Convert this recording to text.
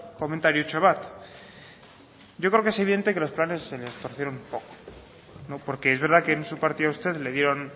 komentariotxo bat yo creo que evidente que los planes se les torcieron un poco no porque es verdad que en su partido a usted le dieron